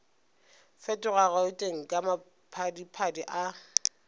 fetoga gauteng ka maphadiphadi a